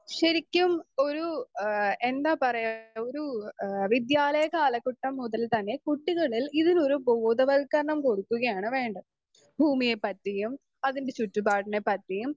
speaker 2 ശരിക്കും ഒരു എന്താ പറയാ ഒരു എഹ് വിദ്യാലയ കാലഘട്ട മുതൽ തന്നെ കുട്ടികളിൽ ഇതിനൊരു ബോധവൽകരണം കൊടുക്കുകയാണ് വേണ്ട ഭൂമിയെ പറ്റിയും അതിൻ്റെ ചുറ്റുപാടിനെ പറ്റിയും